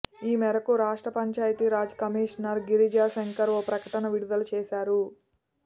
ఈ మేరకు రాష్ట్ర పంచాయతీ రాజ్ కమిషనర్ గిరిజా శంకర్ ఓ ప్రకటన విడుదల చేశారు